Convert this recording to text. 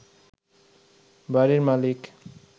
বাড়ির মালিক